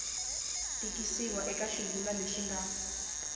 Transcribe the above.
tikisiwa eka xivulwa lexi nga